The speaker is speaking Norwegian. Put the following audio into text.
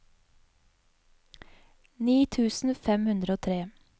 ni tusen fem hundre og tre